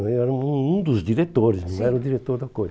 Eu era um um um dos diretores, sim, não era o diretor da coisa.